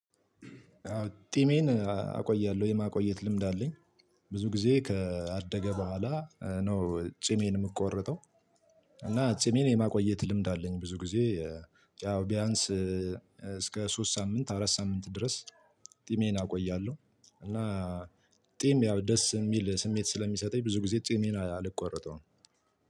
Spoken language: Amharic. ጢሜን አቆያለው የማቆየት ልምድ አለኝ ቡዙ ጊዜ ካደግ ቦኋላ ነው ጺሜን ምቆርጠው። እና ጺሜን የማቆየት ልምድ አለኝ ብዙ ጊዜ ያው ቢያንስ እስከ ሶስት ሳምንት አራት ሳምንት ድረስ ጢሜን አቆያለሁ እና ጢም ያው ደስ የሚል ስሜት ስለሚሰጠኝ ብዙ ጊዜ ጥሜን አልቆረጠውም።